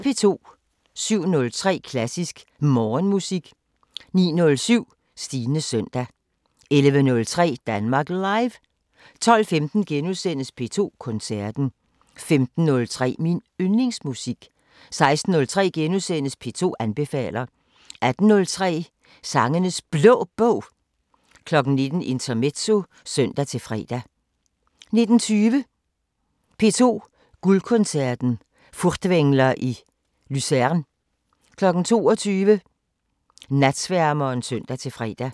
07:03: Klassisk Morgenmusik 09:07: Stines søndag 11:03: Danmark Live 12:15: P2 Koncerten * 15:03: Min Yndlingsmusik 16:03: P2 anbefaler * 18:03: Sangenes Blå Bog 19:00: Intermezzo (søn-fre) 19:20: P2 Guldkoncerten: Furtwängler i Luzern 22:00: Natsværmeren (søn-fre)